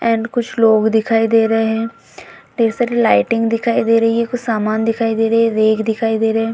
And कुछ लोग दिखाई दे रहे है ढेर सारे लाइटिंग दिखाई दे रही है कुछ सामान दिखाई दे रहे है रेक दिखाई दे रहे हैं।